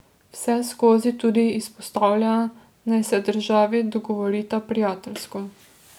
Vseskozi tudi izpostavlja, naj se državi dogovorita prijateljsko.